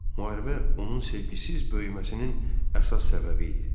Müharibə onun sevgisiz böyüməsinin əsas səbəbi idi.